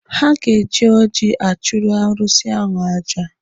Ha ga-eji oji achụrụ arụsị ahụ aja.